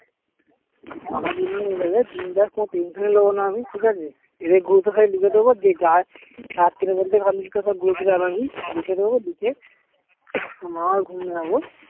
আমার দুজনের হয়ে যাবে বিন্দাস কোনো tension ই নেবো না আমি ঠিক আছে যাদের group এ খালি লিখে দেব যে যা সাত্তার মধ্যে complete করবে আমি আমার ঘুমিয়ে যাবো